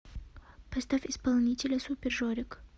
поставь исполнителя супер жорик